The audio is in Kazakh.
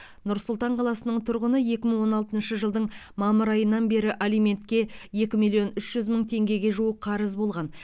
нұр сұлтан қаласының тұрғыны екі мың он алтыншы жылдың мамыр айынан бері алиментке екі миллион үш жүз мың теңгеге жуық қарыз болған